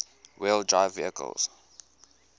wheel drive vehicles